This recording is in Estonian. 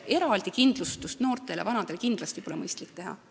Eraldi kindlustust noortele ja vanadele pole kindlasti mõistlik teha.